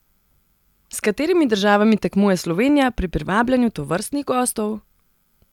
S katerimi državami tekmuje Slovenija pri privabljanju tovrstnih gostov?